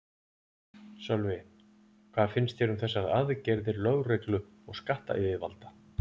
Sölvi, hvað finnst þér um þessar aðgerðir lögreglu og skattayfirvalda?